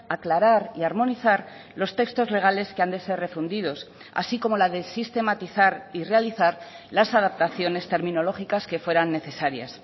aclarar y armonizar los textos legales que han de ser refundidos así como la de sistematizar y realizar las adaptaciones terminológicas que fueran necesarias